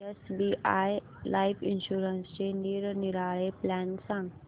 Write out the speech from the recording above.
SBI life इन्शुरन्सचे निरनिराळे plan सांग